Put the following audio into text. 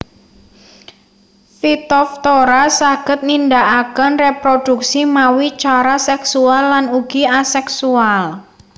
Phytophthora saged nindakaken réprodhuksi mawi cara seksual lan ugi aseksual